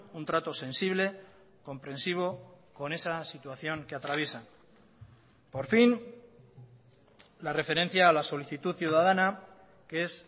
un trato sensible comprensivo con esa situación que atraviesan por fin la referencia a la solicitud ciudadana que es